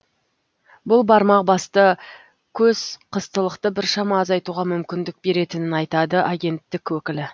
бұл бармақ басты көз қыстылықты біршама азайтуға мүмкіндік беретінін айтады агенттік өкілі